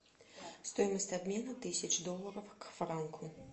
стоимость обмена тысяч долларов к франку